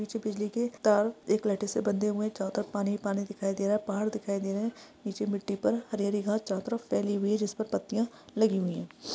नीचे बिजली के ता एक लाइटे से बंधे हुए है जहा तक पानी पानी दिखाई दे रहा है पहाड देखाई दे रहा है नीचे मिट्टी पर हरी हरी घास चारो तरफ फैली हुई है जिसपर पत्तिया लगी हुई है।